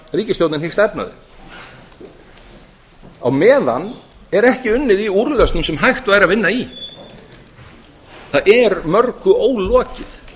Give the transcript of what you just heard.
ríkisstjórnin hyggst efna þau á meðan er ekki unnið í úrlausnum sem hægt væri að vinna í það er mörgu ólokið